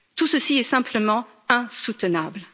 Tout ceci est simplement insoutenable.